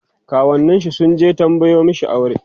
kawunnin shi sunje tambayo mashi aure